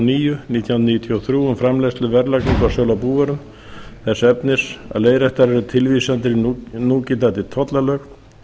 níu nítján hundruð níutíu og þrjú um framleiðslu verðlagningu og sölu á búvörum þess efnis að leiðréttar eru tilvísanir í núgildandi tollalög